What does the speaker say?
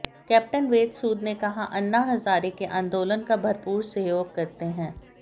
captain Ved Sood ने कहा अन्ना हजारे के आंदोलन का भरपूर सहयोग करते हैं